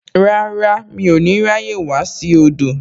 Rárá, mi ò ní ráyè wá sí odò